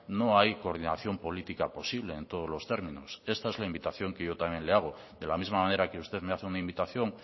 no hay coordinación política posible en todos los términos esta es la invitación que yo también le hago de la misma manera que usted me hace una invitación